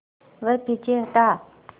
वह पीछे हटा